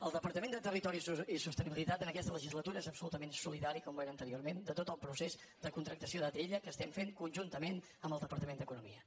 el departament de territori i sostenibilitat en aquesta legislatura és absolutament solidari com ho era ante·riorment en tot el procés de contractació d’atll que fem conjuntament amb el departament d’economia